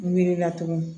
Miirila tugun